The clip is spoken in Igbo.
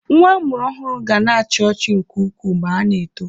Nwa amụrụ ọhụrụ ga na-achi ọchị nke ukwuu ma ha na-eto.